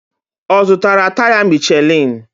Ọ zụtara taya Michelin?